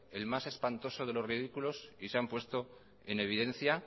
el más espantoso de los ridículos y se han puesto en evidencia